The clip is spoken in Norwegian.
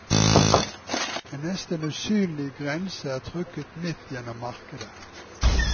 En nesten usynlig grense er trukket midt gjennom markedet.